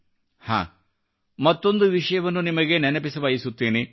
ಹಾಂಮತ್ತೊಂದು ವಿಷಯವನ್ನು ನಿಮಗೆ ನೆನಪಿಸಬಯಸುತ್ತೇನೆ